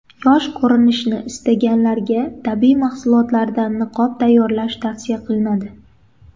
Yosh ko‘rinishni istaganlarga tabiiy mahsulotlardan niqob tayyorlash tavsiya qilinadi.